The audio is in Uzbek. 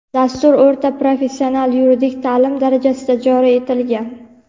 Dastur o‘rta professional yuridik ta’lim darajasida joriy etilgan.